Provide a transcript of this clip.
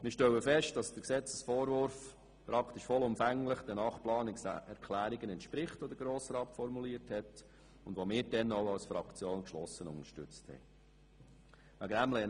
Wir stellen fest, dass der Gesetzesentwurf praktisch vollumfänglich den acht Planungserklärungen entspricht, die der Grosse Rat formuliert hat, und die wir dann auch als Fraktion geschlossen unterstützt haben.